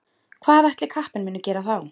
Hvað ætli kappinn muni gera þá?